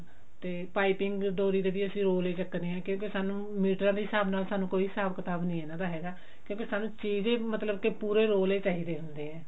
ਤੇ ਪਾਈਪਿੰਨ ਡੋਰੀ ਦੇ ਵੀ ਅਸੀਂ roll ਹੀ ਚੱਕਦੇ ਹਾਂ ਕਿਉਂਕੇ ਸਾਨੂੰ ਮੀਟਰ ਦੇ ਹਿਸਾਬ ਨਾਲ ਸਾਨੂੰ ਕੋਈ ਹਿਸਾਬ ਕਿਤਾਬ ਨਹੀ ਇਹਨਾਂ ਦਾ ਹੈਗਾ ਕਿਉਕੇ ਸਾਨੂੰ ਚਾਹੀਦੇ ਮਤਲਬ ਕਿ ਪੂਰੇ roll ਹੀ ਚਾਹੀਦੇ ਹੁੰਦੇ ਆ